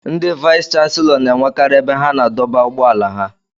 Ndị vayis chansilọ n'enwekari ebe ha na-adọba ụgbọala ha.